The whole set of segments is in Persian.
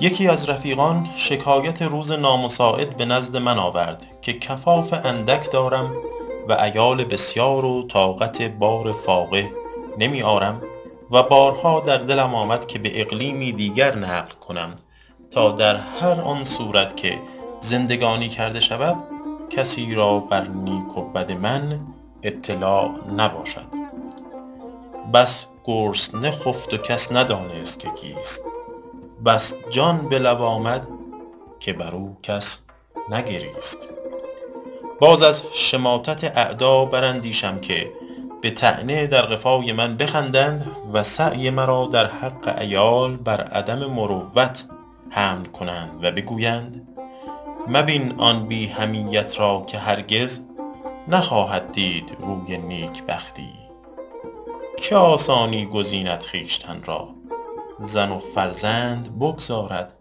یکی از رفیقان شکایت روزگار نامساعد به نزد من آورد که کفاف اندک دارم و عیال بسیار و طاقت بار فاقه نمی آرم و بارها در دلم آمد که به اقلیمی دیگر نقل کنم تا در هر آن صورت که زندگانی کرده شود کسی را بر نیک و بد من اطلاع نباشد بس گرسنه خفت و کس ندانست که کیست بس جان به لب آمد که بر او کس نگریست باز از شماتت اعدا بر اندیشم که به طعنه در قفای من بخندند و سعی مرا در حق عیال بر عدم مروت حمل کنند و گویند مبین آن بی حمیت را که هرگز نخواهد دید روی نیکبختی که آسانی گزیند خویشتن را زن و فرزند بگذارد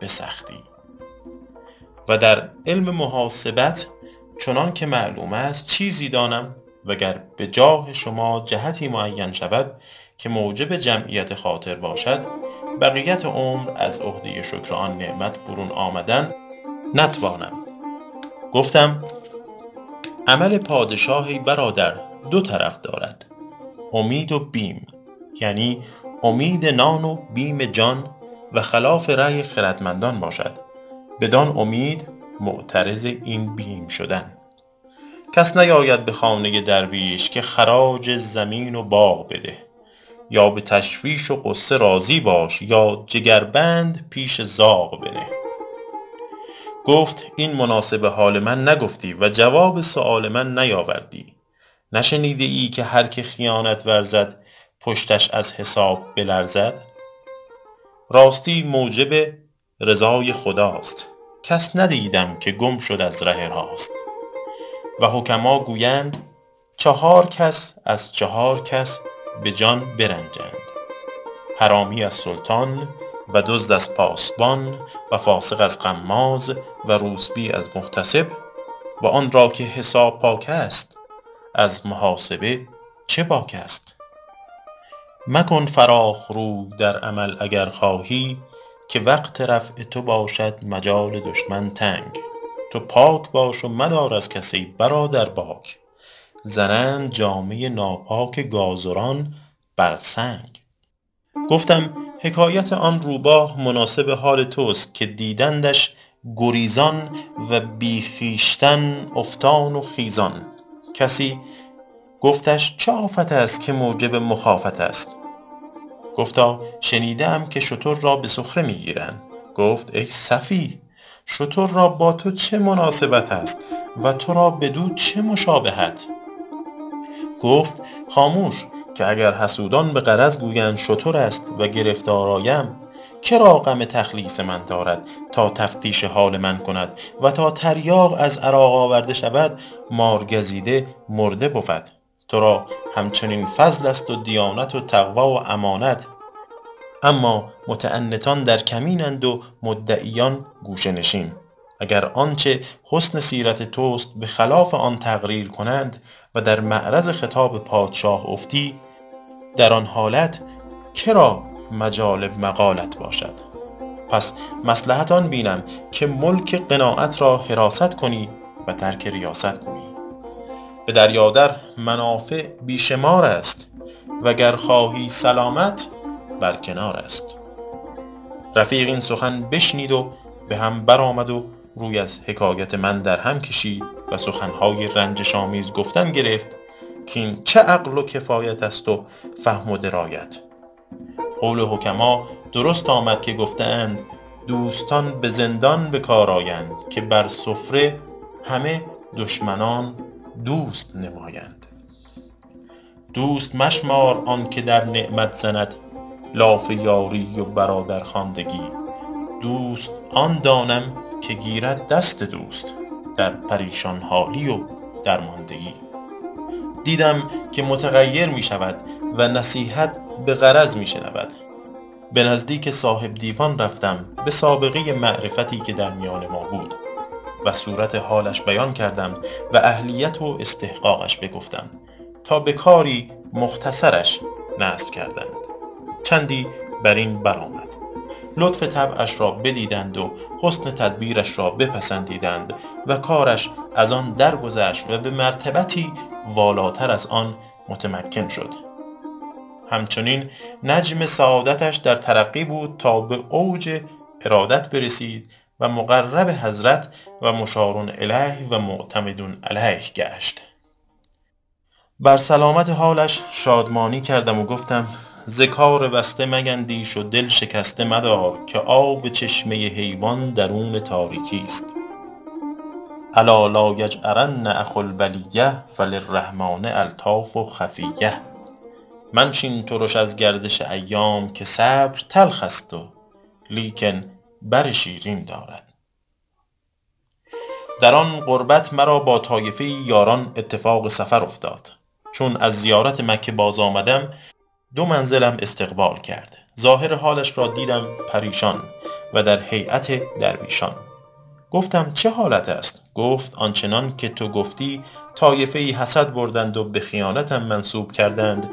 به سختی و در علم محاسبت چنان که معلوم است چیزی دانم و گر به جاه شما جهتی معین شود که موجب جمعیت خاطر باشد بقیت عمر از عهده شکر آن نعمت برون آمدن نتوانم گفتم عمل پادشاه ای برادر دو طرف دارد امید و بیم یعنی امید نان و بیم جان و خلاف رای خردمندان باشد بدان امید متعرض این بیم شدن کس نیاید به خانه درویش که خراج زمین و باغ بده یا به تشویش و غصه راضی باش یا جگربند پیش زاغ بنه گفت این مناسب حال من نگفتی و جواب سؤال من نیاوردی نشنیده ای که هر که خیانت ورزد پشتش از حساب بلرزد راستی موجب رضای خداست کس ندیدم که گم شد از ره راست و حکما گویند چهار کس از چهار کس به جان برنجند حرامی از سلطان و دزد از پاسبان و فاسق از غماز و روسبی از محتسب و آن را که حساب پاک است از محاسب چه باک است مکن فراخ روی در عمل اگر خواهی که وقت رفع تو باشد مجال دشمن تنگ تو پاک باش و مدار از کس ای برادر باک زنند جامه ناپاک گازران بر سنگ گفتم حکایت آن روباه مناسب حال توست که دیدندش گریزان و بی خویشتن افتان و خیزان کسی گفتش چه آفت است که موجب مخافت است گفتا شنیده ام که شتر را به سخره می گیرند گفت ای سفیه شتر را با تو چه مناسبت است و تو را بدو چه مشابهت گفت خاموش که اگر حسودان به غرض گویند شتر است و گرفتار آیم که را غم تخلیص من دارد تا تفتیش حال من کند و تا تریاق از عراق آورده شود مارگزیده مرده بود تو را هم چنین فضل است و دیانت و تقوی و امانت اما متعنتان در کمین اند و مدعیان گوشه نشین اگر آنچه حسن سیرت توست به خلاف آن تقریر کنند و در معرض خطاب پادشاه افتی در آن حالت مجال مقالت باشد پس مصلحت آن بینم که ملک قناعت را حراست کنی و ترک ریاست گویی به دریا در منافع بی شمار است و گر خواهی سلامت بر کنار است رفیق این سخن بشنید و به هم بر آمد و روی از حکایت من در هم کشید و سخن های رنجش آمیز گفتن گرفت کاین چه عقل و کفایت است و فهم و درایت قول حکما درست آمد که گفته اند دوستان به زندان به کار آیند که بر سفره همه دشمنان دوست نمایند دوست مشمار آن که در نعمت زند لاف یاری و برادرخواندگی دوست آن دانم که گیرد دست دوست در پریشان حالی و درماندگی دیدم که متغیر می شود و نصیحت به غرض می شنود به نزدیک صاحب دیوان رفتم به سابقه معرفتی که در میان ما بود و صورت حالش بیان کردم و اهلیت و استحقاقش بگفتم تا به کاری مختصرش نصب کردند چندی بر این بر آمد لطف طبعش را بدیدند و حسن تدبیرش را بپسندیدند و کارش از آن درگذشت و به مرتبتی والاتر از آن متمکن شد هم چنین نجم سعادتش در ترقی بود تا به اوج ارادت برسید و مقرب حضرت و مشارالیه و معتمد علیه گشت بر سلامت حالش شادمانی کردم و گفتم ز کار بسته میندیش و دل شکسته مدار که آب چشمه حیوان درون تاریکی است الا لایجأرن اخو البلیة فللرحمٰن الطاف خفیة منشین ترش از گردش ایام که صبر تلخ است ولیکن بر شیرین دارد در آن قربت مرا با طایفه ای یاران اتفاق سفر افتاد چون از زیارت مکه باز آمدم دو منزلم استقبال کرد ظاهر حالش را دیدم پریشان و در هیأت درویشان گفتم چه حالت است گفت آن چنان که تو گفتی طایفه ای حسد بردند و به خیانتم منسوب کردند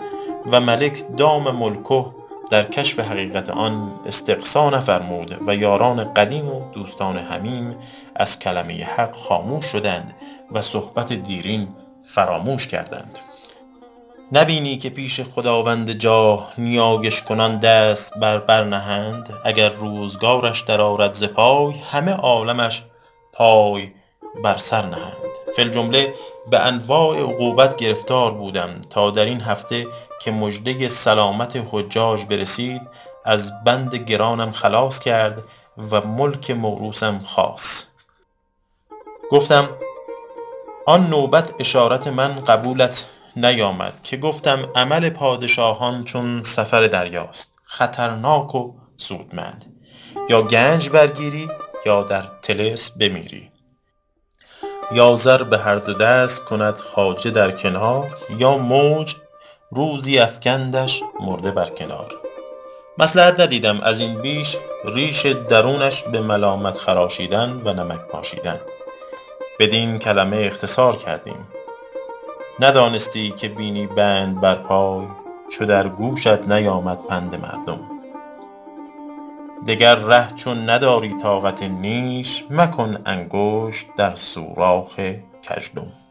و ملک دام ملکه در کشف حقیقت آن استقصا نفرمود و یاران قدیم و دوستان حمیم از کلمه حق خاموش شدند و صحبت دیرین فراموش کردند نه بینی که پیش خداوند جاه نیایش کنان دست بر بر نهند اگر روزگارش در آرد ز پای همه عالمش پای بر سر نهند فی الجمله به انواع عقوبت گرفتار بودم تا در این هفته که مژده سلامت حجاج برسید از بند گرانم خلاص کرد و ملک موروثم خاص گفتم آن نوبت اشارت من قبولت نیامد که گفتم عمل پادشاهان چون سفر دریاست خطرناک و سودمند یا گنج برگیری یا در طلسم بمیری یا زر به هر دو دست کند خواجه در کنار یا موج روزی افکندش مرده بر کنار مصلحت ندیدم از این بیش ریش درونش به ملامت خراشیدن و نمک پاشیدن بدین کلمه اختصار کردیم ندانستی که بینی بند بر پای چو در گوشت نیامد پند مردم دگر ره چون نداری طاقت نیش مکن انگشت در سوراخ گژدم